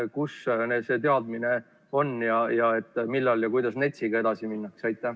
Kus see teadmine on ning millal ja kuidas NETS-iga edasi minnakse?